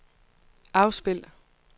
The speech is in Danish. afspil